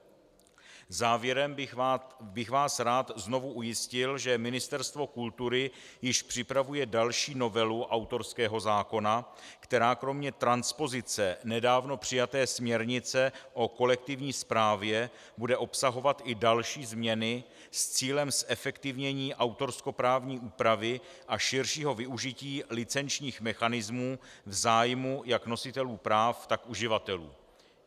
Závěrem bych vás rád znovu ujistil, že Ministerstvo kultury již připravuje další novelu autorského zákona, která kromě transpozice nedávno přijaté směrnice o kolektivní správě bude obsahovat i další změny s cílem zefektivnění autorskoprávní úpravy a širšího využití licenčních mechanismů v zájmu jak nositelů práv, tak uživatelů.